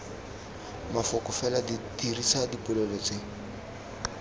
mafoko fela dirisa dipolelo tse